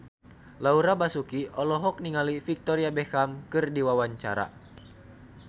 Laura Basuki olohok ningali Victoria Beckham keur diwawancara